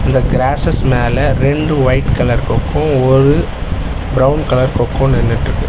இந்த கிராசஸ் மேல ரெண்டு ஒயிட் கலர் கொக்கு ஒரு பிரவுன் கலர் கொக்கும் நின்னுட்ருக்கு.